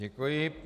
Děkuji.